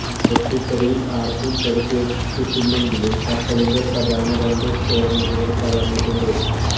പൊട്ടിത്തെറിയില് ആര്ക്കും പരിക്കേറ്റിട്ടില്ലെങ്കിലും കപ്പലിന്റെ പ്രധാന രണ്ട് സ്റ്റോര് മുറികള് തകര്ന്നിട്ടുണ്ട്